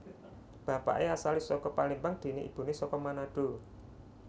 Bapaké asalé saka Palembang déné ibuné saka Manado